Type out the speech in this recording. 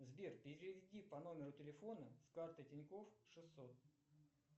сбер переведи по номеру телефона с карты тиньков шестьсот